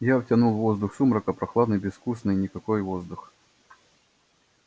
я втянул воздух сумрака прохладный безвкусный никакой воздух